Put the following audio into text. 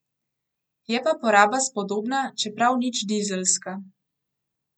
Je pa poraba spodobna, čeprav nič dizelska.